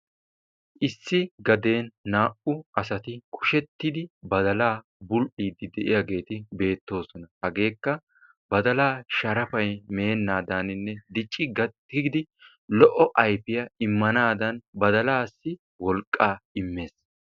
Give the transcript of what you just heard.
Issi gaden naa''u asati kushettidi badalaa bul'iiddi diyageeti beettosona hageekka badalaa sharafay meennadaaninne dicci gakkidi lo'o ayfiyaa immanaadan badalaassi wolqqaa immes.